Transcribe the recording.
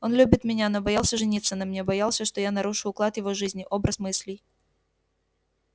он любит меня но боялся жениться на мне боялся что я нарушу уклад его жизни образ мыслей